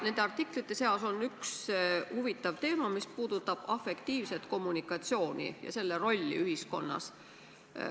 Nendes artiklites on üks huvitav teema, mis puudutab afektiivset kommunikatsiooni ja selle rolli ühiskonnas.